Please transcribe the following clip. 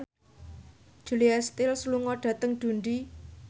Julia Stiles lunga dhateng Dundee